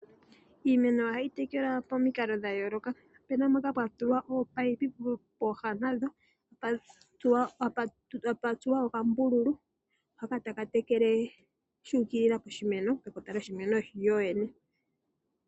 Iimeno ohayi tekelwa momikalo dha yooloka. Opuna mpoka pwa tulwa oopipe pooha nadho tadhi tuwa oombululu ndhoka tadhi tekele shuu kilila pekota lyo shimeno sho shene.